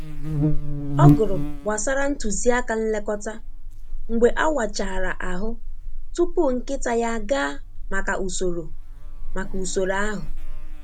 Ọ gụrụ gbasara ntuziaka nlekọta mgbe awachara ahụ tupu nkịta ya agaa maka usoro maka usoro ahụ.